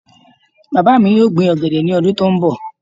Bàbá mi yóò gbin ọ̀gẹ̀dẹ̀ ní ọdún tó ń bọ̀